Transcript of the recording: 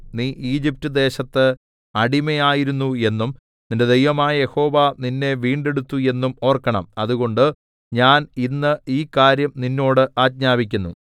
നീ ഈജിപ്റ്റ് ദേശത്ത് അടിമയായിരുന്നു എന്നും നിന്റെ ദൈവമായ യഹോവ നിന്നെ വീണ്ടെടുത്തു എന്നും ഓർക്കണം അതുകൊണ്ട് ഞാൻ ഇന്ന് ഈ കാര്യം നിന്നോട് ആജ്ഞാപിക്കുന്നു